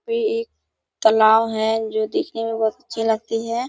ये एक तालाब है जो दिखने में बहुत अच्छी लगती है।